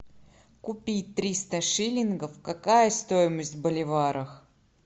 купить триста шиллингов какая стоимость в боливарах